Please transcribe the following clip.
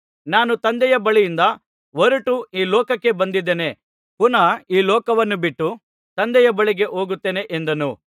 ನಾನು ತಂದೆಯ ಬಳಿಯಿಂದ ಹೊರಟು ಈ ಲೋಕಕ್ಕೆ ಬಂದಿದ್ದೇನೆ ಪುನಃ ಈ ಲೋಕವನ್ನು ಬಿಟ್ಟು ತಂದೆಯ ಬಳಿಗೆ ಹೋಗುತ್ತೇನೆ ಎಂದನು